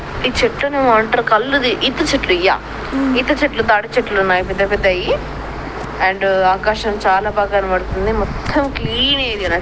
ఈ చెట్టు నేమో అంటారు కల్లుది ఈత చెట్లు ఉమ్ ఈత చెట్లు తాడి చెట్లు లు ఉన్నాయిపెద్ద పెద్దవి అండ్ అవకాశం చాలా బాగా కనబడుతుందిమొత్తం క్లీన్ ఏరియా